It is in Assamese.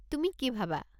তুমি কি ভাবা?